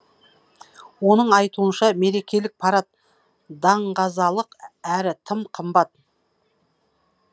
оның айтуынша мерекелік парад даңғазалық әрі тым қымбат